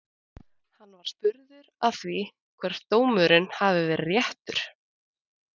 Hann var spurður að því hvort dómurinn hafi verið réttur?